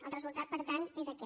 el resultat per tant és aquest